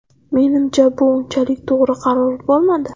Menimcha bu unchalik to‘g‘ri qaror bo‘lmadi.